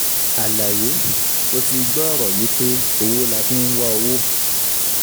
Àlàyé, Ó ti gbọ́ ọ̀rọ̀ yìí pé " owó la fi ń wá owó".